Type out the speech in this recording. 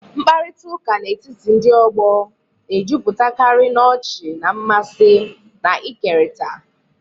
Mkparịta ụka n'etiti ndị ọgbọ na-ejupụtakarị n'ọchị na mmasị na-ekerịta.